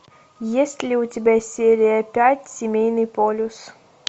есть ли у тебя серия пять семейный полюс